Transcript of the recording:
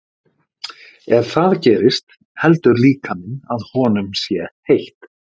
Ef það gerist heldur líkaminn að honum sé heitt.